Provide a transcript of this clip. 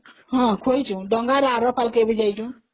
ହଁ କରିଛୁ, ଡଙ୍ଗା ରେ ଆର ପାରିକୁ ବି ଯାଇଛୁ